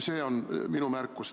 See on minu märkus.